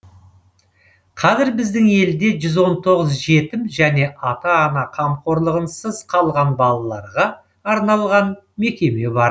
қазір біздің елде жүз он тоғыз жетім және ата ана қамқорлығынсыз қалған балаларға арналған мекеме бар